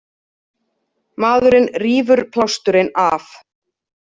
Maðurinn rífur plásturinn af.